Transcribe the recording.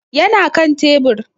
Ya na kan tebur.